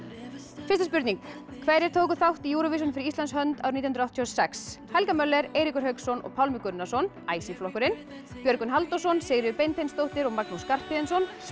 fyrsta spurning hverjir tóku þátt í Júróvisjón fyrir Íslands hönd nítján hundruð áttatíu og sex helga Möller Eiríkur Hauksson og Pálmi Gunnarsson flokkurinn Björgvin Halldórsson Sigríður Beinteinsdóttir og Magnús Skarphéðinsson